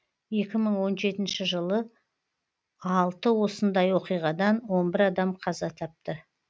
екі мың он жетінші жылы алты осындай оқиғадан он бір адам қаза тапты